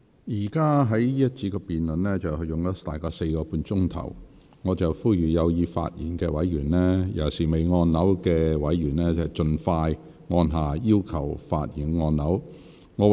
這個環節的辯論現已進行約4個半小時，我呼籲有意發言的委員，尤其是尚未發言的委員，盡早按下"要求發言"按鈕。